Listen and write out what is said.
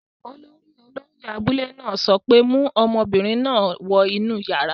Olórí olóyẹ̀ abúlé náà sọ pé, 'mu ọmọbìnrin náà wọ inú yàrá!